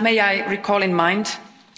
May I also remind you